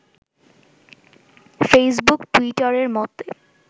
Facebook টুইটারের মত